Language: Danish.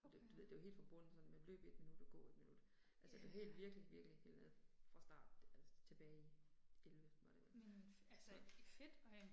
Det du ved det var helt fra bunden sådan med løb 1 minut og gå 1 minut. Altså det helt virkelig virkelig helt nede fra starten altså tilbage i 11 var det vel. Så